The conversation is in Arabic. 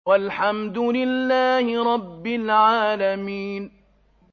وَالْحَمْدُ لِلَّهِ رَبِّ الْعَالَمِينَ